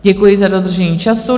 Děkuji za dodržení času.